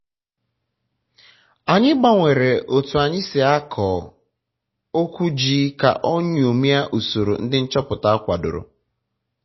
anyị gbanwere otu anyị si akọ okwu ji ka o nyomie usoro ndị nchọpụta kwadoro